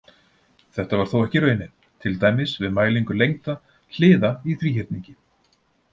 Þetta var þó ekki raunin, til dæmis við mælingu lengda hliða í þríhyrningi.